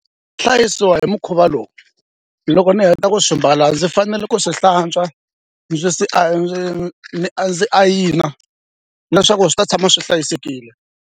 Hlayisiwa hi mukhuva lowu loko ni heta ku swi mbala ndzi fanele ku swi hlantswa ndzi swi ndzi a ndzi ayina leswaku swi ta tshama swi hlayisekile.